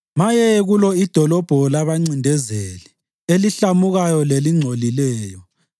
Maye kulo idolobho labancindezeli, elihlamukayo lelingcolileyo!